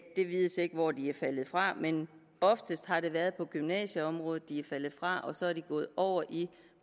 det vides ikke hvor de er faldet fra men oftest har det været på gymnasieområdet de er faldet fra og så er de gået over i et